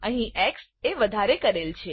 અહી એક્સ એ વધારે કરેલ છે